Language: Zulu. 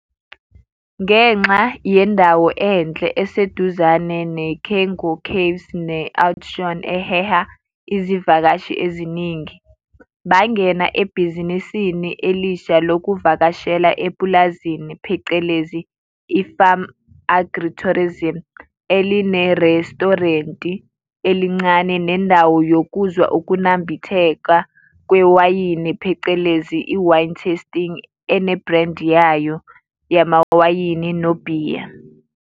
Ngenxa yendawo enhle, eseduzane ne-Cango Vaves ne-Oudtshoom eheha izivakashi eziningi, bangena ebhizinisini elisha lokuvakashela epulazini phecelezi i-farm agritourism elinerestorenti elincane nendawo yokuzwa ukunambithekwa kwewayini phecelezi i-wine-testing ene-brand yayo yamawayini nobhiya.